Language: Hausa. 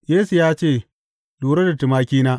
Yesu ya ce, Lura da tumakina.